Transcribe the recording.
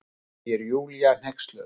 segir Júlía hneyksluð.